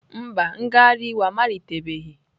Mba, ngagharị iwe a amalitebeghị.